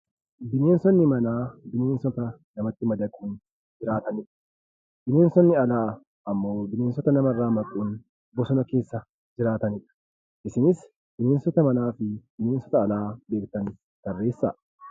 Bineensonni manaa bineensota namatti madaquun jiraatani dha. Bineensonni alaa ammoo bineensota namarraa maquun bosona keessa jiraatani dha. Isinis bineensota manaa fi bineensota alaa beektan tarreessaa!